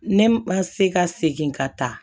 Ne ma se ka segin ka taa